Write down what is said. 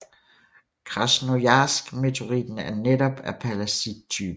Krasnojarsk meteoritten er netop af pallasittypen